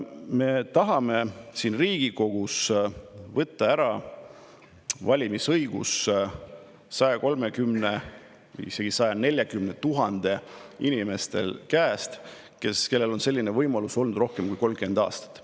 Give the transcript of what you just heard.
Me tahame siin Riigikogus võtta ära valimisõiguse 130 000 või isegi 140 000 inimese käest, kellel on selline võimalus olnud rohkem kui 30 aastat.